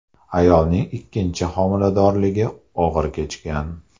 Ayolning ikkinchi homiladorligi og‘ir kechgan.